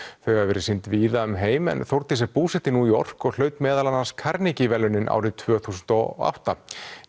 þau hafa verið sýnd víða um heim en Þórdís er búsett í New York og hlaut meðal annars verðlaunin árið tvö þúsund og átta